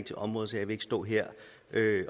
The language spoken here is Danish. til området så jeg vil ikke stå her